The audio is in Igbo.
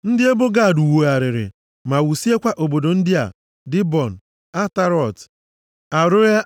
Ndị ebo Gad wugharịrị ma wusiekwa obodo ndị a, Dibọn, Atarọt, Aroea